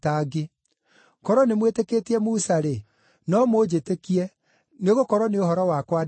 Korwo nĩmwĩtĩkĩtie Musa-rĩ, no mũnjĩtĩkie, nĩgũkorwo nĩ ũhoro wakwa aandĩkire.